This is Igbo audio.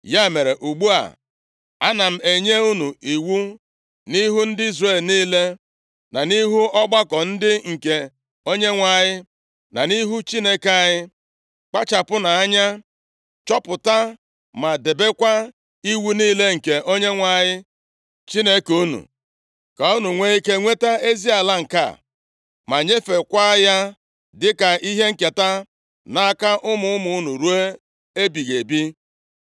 “Ya mere, ugbu a ana m enye unu iwu nʼihu ndị Izrel niile, na nʼihu ọgbakọ ndị nke Onyenwe anyị, na nʼihu Chineke anyị. Kpachapụnụ anya chọpụta ma debekwa iwu niile nke Onyenwe anyị Chineke unu, ka unu nwee ike nweta ezi ala nke a; ma nyefeekwa ya dịka ihe nketa nʼaka ụmụ ụmụ unu ruo ebighị ebi.